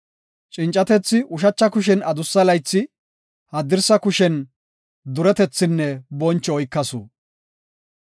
Cincatethi ushacha kushen adussa laythi, haddirsa kushen duretethinne boncho oykasu.